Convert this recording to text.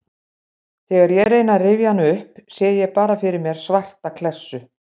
Þegar ég reyni að rifja hann upp sé ég bara fyrir mér svarta klessu.